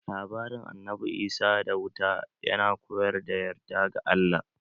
Labarin Annabi Isa da wuta ya na koyar da yarda ga Allah.